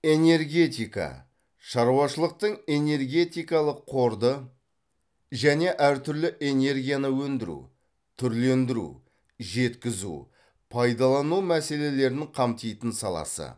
энергетика шаруашылықтың энергетикалық қорды және әр түрлі энергияны өндіру түрлендіру жеткізу пайдалану мәселелерін қамтитын саласы